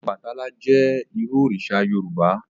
Ọbàtálá jẹ́ irú òrìṣà Yorùbá